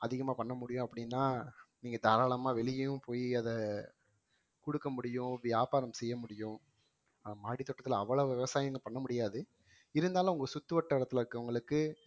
அதிகமா பண்ண முடியும் அப்படின்னா நீங்க தாராளமா வெளியயும் போயி அதை குடுக்க முடியும் வியாபாரம் செய்ய முடியும், மாடி தோட்டத்துல அவ்வளவு விவசாயமங்க பண்ண முடியாது இருந்தாலும் உங்க சுத்துவட்டாரத்துல இருக்கவங்களுக்கு